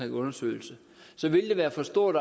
en undersøgelse så vil det være for stort